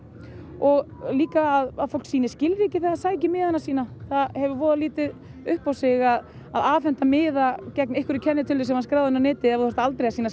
og líka að fólk sýni skilríki þegar það sækir miðana sína það hefur voða lítið upp á sig að afhenda miða gegn einhverri kennitölu sem er skráð inn á netið ef þú þarft aldrei að sýna